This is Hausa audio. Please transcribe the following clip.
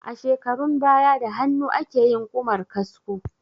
A shekarun baya da hannu akeyin Ƙumar kasko